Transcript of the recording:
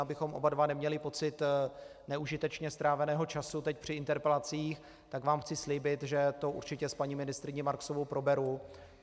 Abychom oba dva neměli pocit neužitečně stráveného času teď při interpelacích, tak vám chci slíbit, že to určitě s paní ministryní Marksovou proberu.